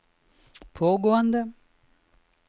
pågående